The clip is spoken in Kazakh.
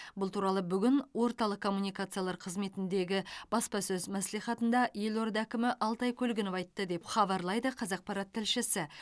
бұл туралы бүгін орталық коммуникациялар қызметіндегі баспасөз мәслихатында елорда әкімі алтай көлгінов айтты деп хабарлайды қазақпарат тілшісі